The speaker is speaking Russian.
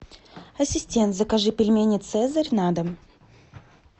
ассистент закажи пельмени цезарь на дом